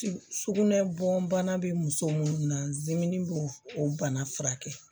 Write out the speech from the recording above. Sugunɛ bɔn bana bɛ muso minnu na zimini bo o bana furakɛ